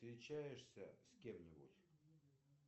встречаешься с кем нибудь